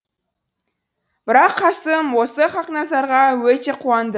бірақ қасым осы хақназарға өте қуанды